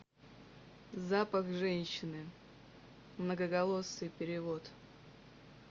запах женщины многоголосый перевод